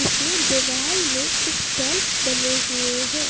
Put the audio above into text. इसमें दिवाल में कुछ शेल्व्स बने हुए हैं।